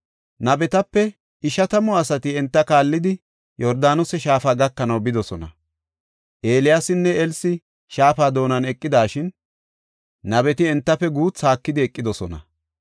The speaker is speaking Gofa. Nabetape ishatamu asati enta kaallidi, Yordaanose Shaafa gakanaw bidosona. Eeliyaasinne Elsi shaafa doonan eqidashin, nabeti entafe guuthu haakidi eqidosona.